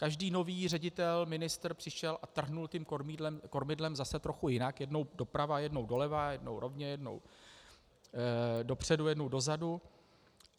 Každý nový ředitel, ministr přišel a trhnul tím kormidlem zase trochu jinak - jednou doprava, jednou doleva, jednou rovně, jednou dopředu, jednou dozadu.